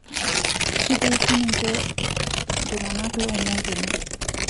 kitii sininje ntunganak lomongo ene